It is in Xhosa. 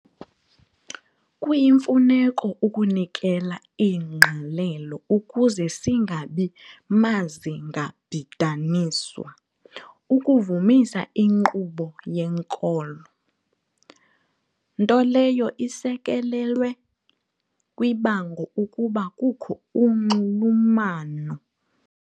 kuyimfuneko ukunikela ingqalelo ukuze singabi mazingabhidaniswa ukuvumisa inkqubo yenkolo, nto leyo isekelelwe kwibango ukuba kukho unxulumano.